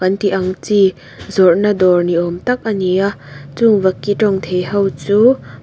tih ang chi zawrhna dawr ni awm tak a ni a chung vaki tawngthei ho chu--